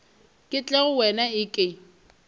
ke tle go wena eke